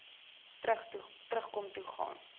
terugkom toe gaan